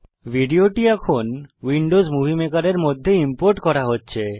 ভিডিওটি এখন Windows Movie Maker এর মধ্যে ইম্পোর্ট করা হচ্ছে